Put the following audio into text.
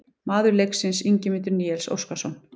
Maður leiksins: Ingimundur Níels Óskarsson